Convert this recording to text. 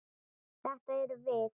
Þetta erum við.